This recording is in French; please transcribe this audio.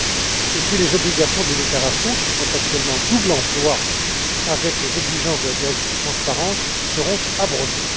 Enfin, les obligations des déclarations qui font actuellement double emploi avec les exigences de la directive sur la transparence seront abrogées.